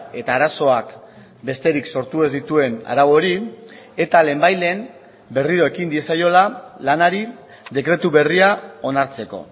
eta arazoak besterik sortu ez dituen arau hori eta lehenbailehen berriro ekin diezaiola lanari dekretu berria onartzeko